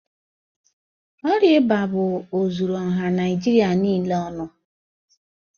Ọrịa ịba bụ ozuru ọha Naijịrịa niile ọnụ.